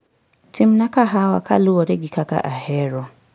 Timna kahawa kaluwore gi kaka ahero.